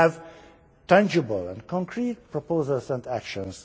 We have tangible and concrete proposals and actions.